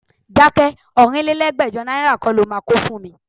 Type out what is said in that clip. Dákẹ́! Ọ̀rínlélẹ́gbẹ́jọ náírà kọ́ lo máa ń kó fún mi.